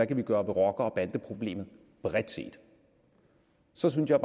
kan gøre ved rocker og bandeproblemet bredt set så synes jeg